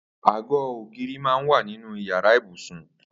Àgó ógìrí mà n wà ninú iyàrá ibúsún